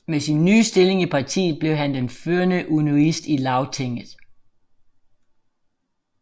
Med sin nye stilling i partiet blev han den førende unionist i Lagtinget